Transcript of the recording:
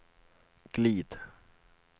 glid